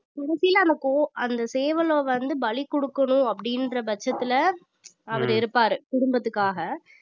கடைசில அந்த கோ~ அந்த சேவலை வந்து பலி கொடுக்கணும் அப்படின்ற பட்சத்துல அவரு இருப்பாரு குடும்பத்துக்காக